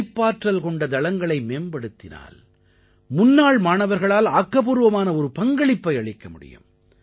படைப்பாற்றல் கொண்ட தளங்களை மேம்படுத்தினால் முன்னாள் மாணவர்களால் ஆக்கப்பூர்வமான ஒரு பங்களிப்பை அளிக்க முடியும்